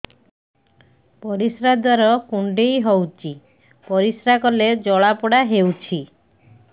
ପରିଶ୍ରା ଦ୍ୱାର କୁଣ୍ଡେଇ ହେଉଚି ପରିଶ୍ରା କଲେ ଜଳାପୋଡା ହେଉଛି